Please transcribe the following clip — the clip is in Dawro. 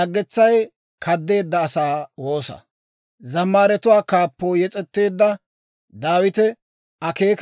Abeet S'oossaw, ta woosaa sisa; ta maganaa ay metee gooppa.